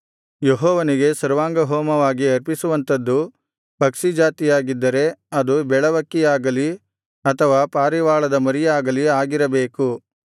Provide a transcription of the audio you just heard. ಯೆಹೋವನಿಗೆ ಸರ್ವಾಂಗಹೋಮವಾಗಿ ಅರ್ಪಿಸುವಂಥದ್ದು ಪಕ್ಷಿಜಾತಿಯಾಗಿದ್ದರೆ ಅದು ಬೆಳವಕ್ಕಿಯಾಗಲಿ ಅಥವಾ ಪಾರಿವಾಳದ ಮರಿಯಾಗಲಿ ಆಗಿರಬೇಕು